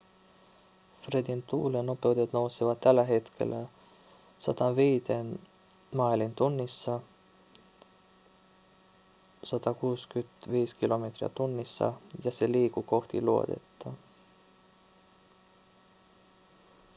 fredin tuulennopeudet nousevat tällä hetkellä 105 mailiin tunnissa 165 km/h ja se liikkuu kohti luodetta